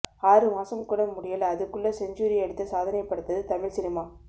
ஆறு மாசம் கூட முடியல அதுக்குள்ள செஞ்சுரி அடித்து சாதனைப் படைத்தது தமிழ் சினிமா